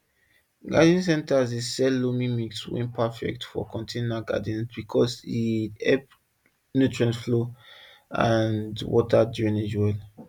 garden centers dey sell loamy mix wey perfect for container gardens because e help nutrient flow and water drainage well